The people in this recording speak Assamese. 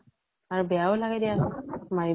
আৰু বেয়া ও লাগে দিয়া চোন, মাৰিব